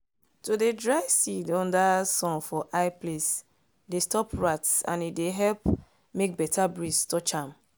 to dey dry seeds under sun for high place dey stop rats and e dey help make beta breeze touch am.